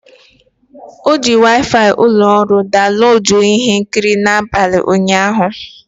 O ji Waifai ụlọ ọrụ daunloduo ihe nkiri n'abalị ụnyaahụ.